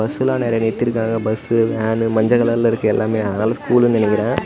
பஸ்ஸெல்லாம் நெறய நிறுத்திருக்காங்க பஸ் வேன் மஞ்ச கலர்ல இருக்கு எல்லாமே அதனால ஸ்கூல்னு நினைக்கிறேன்.